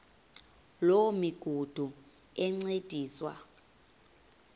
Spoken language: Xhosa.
loo migudu encediswa